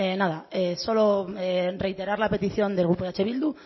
nada solo reiterar la petición del grupo eh bildu